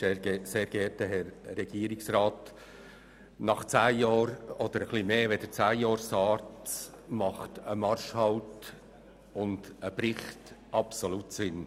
Nach etwas mehr als zehn Jahren SARZ machen ein Marschhalt und ein Bericht absolut Sinn.